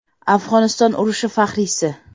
Afg‘oniston urushi faxriysi.